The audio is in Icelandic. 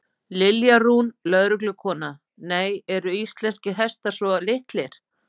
Lilja Rún, lögreglukona: Nei, eru ekki íslenskir hestar svo litlir?